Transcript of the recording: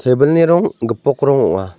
tebilni rong gipok rong ong·a.